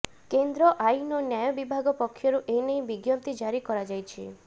କେନ୍ଦ୍ର ଆଇନ ଓ ନ୍ୟାୟ ବିଭାଗ ପକ୍ଷରୁ ଏନେଇ ବିଜ୍ଞପ୍ତି ଜାରି କରାଯାଇଛି